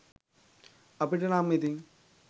අපිට නම් ඉතින්